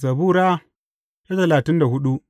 Zabura Sura talatin da hudu